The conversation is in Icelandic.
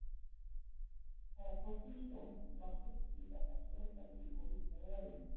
Herra Toshizo las upplýsingar af stjórntækinu og vísaði veginn.